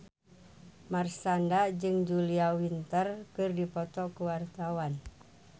Marshanda jeung Julia Winter keur dipoto ku wartawan